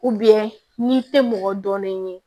n'i tɛ mɔgɔ dɔnnen ye